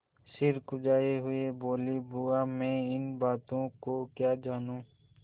सिर झुकाये हुए बोलीबुआ मैं इन बातों को क्या जानूँ